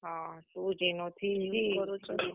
ହଁ two G ନୁ three G ।